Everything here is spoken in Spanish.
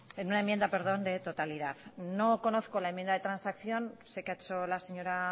en una enmienda de totalidad no conozco la enmienda de transacción sé que ha hecho la señora